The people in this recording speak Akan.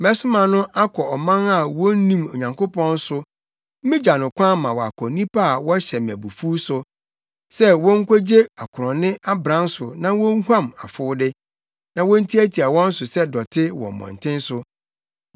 Mesoma no akɔ ɔman a wonnim Onyankopɔn so migya no kwan ma wakɔ nnipa a wɔhyɛ me abufuw so sɛ wonkogye akorɔnne abran so na wonhuam afowde, na wontiatia wɔn so sɛ dɔte wɔ mmɔnten so.